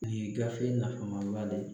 Li gafe nafama ba de ye.